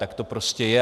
Tak to prostě je.